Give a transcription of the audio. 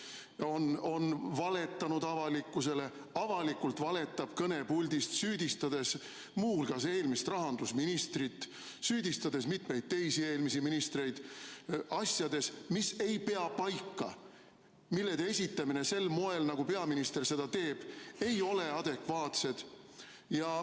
on valetanud avalikkusele, avalikult valetab kõnepuldist, süüdistades muu hulgas eelmist rahandusministrit, süüdistades mitmeid teisi eelmisi ministreid asjades, mis ei pea paika, mille esitamine sel moel, nagu peaminister seda teeb, ei ole adekvaatne.